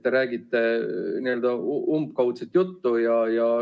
Te räägite umbkaudset juttu.